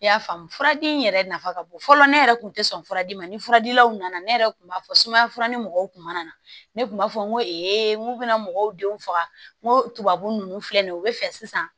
I y'a faamu furadi in yɛrɛ nafa ka bon fɔlɔ ne yɛrɛ kun tɛ sɔn furadi ma ni furadilanw nana ne yɛrɛ tun b'a fɔ sumaya fura ni mɔgɔw kun mana ne kun b'a fɔ n ko n ko bɛna mɔgɔw denw faga n ko tubabu ninnu filɛ nin ye u bɛ fɛ sisan